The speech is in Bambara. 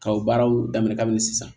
Ka o baaraw daminɛ kabini sisan